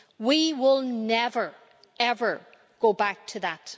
We will never, ever go back to that.